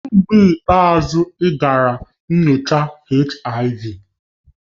Kedu mgbe ikpeazụ ị gara nyocha HIV?